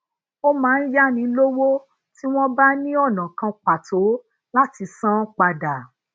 ó máa ń yáni lówó ti won bá ní ona kan pàtó láti san án padà